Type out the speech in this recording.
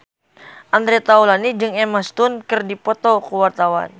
Andre Taulany jeung Emma Stone keur dipoto ku wartawan